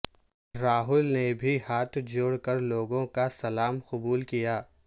راہل نے بھی ہاتھ جوڑ کر لوگوں کا سلام قبول کیا